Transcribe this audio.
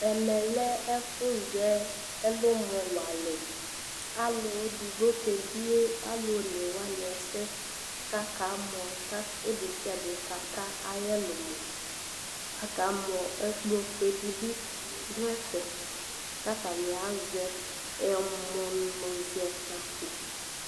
Ɛmɛlɛ ɛfuzɛ ɛlʋmɔ walɛƆlʋ eɖigbo k'ebie' aalʋ onewani ɛsɛ k'akamɔ ka ɔlʋ desiaɖe k'aka mɔ akamɔƐkplɔ fueɖibi ɖʋ ɛfɛ k'atani azɛ ɛmʋnʋzɛkpako